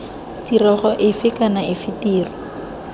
tirego efe kana efe tiro